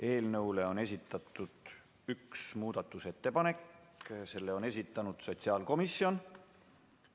Eelnõu kohta on esitatud üks muudatusettepanek, selle on esitanud sotsiaalkomisjon.